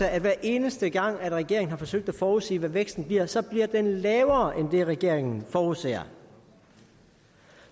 at hver eneste gang regeringen har forsøgt at forudsige hvad væksten bliver så bliver den lavere end det regeringen forudser